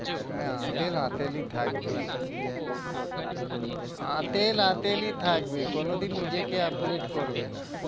মানে আঁতেল আঁতেলই থাকবে আঁতেল আঁতেলই থাকবে কোনোদিন নিজেকে upgrade করবে না।